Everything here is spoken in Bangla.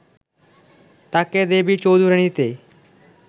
তাকে দেবী চৌধুরাণীতে